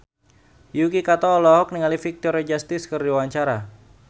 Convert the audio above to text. Yuki Kato olohok ningali Victoria Justice keur diwawancara